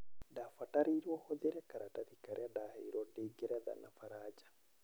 Ndabatarirwo hũthĩre karatathi karĩa ndaherwo ndĩ ngeretha na baranja.